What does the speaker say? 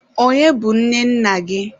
Onye bụ nne nna gị?